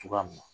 Cogoya min na